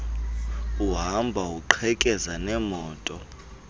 uhamba uqhekeza neemoto